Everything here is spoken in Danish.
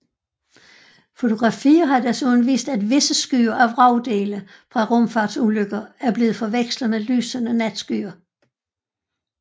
Fotografier har desuden vist at visse skyer af vragdele fra rumfartsulykker er blevet forvekslet med lysende natskyer